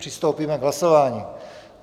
Přistoupíme k hlasování.